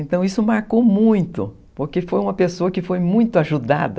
Então isso marcou muito, porque foi uma pessoa que foi muito ajudada